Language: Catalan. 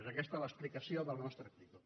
és aquesta l’explicació de la nostra actitud